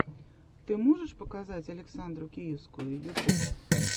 ты можешь показать александру киевскую ютуб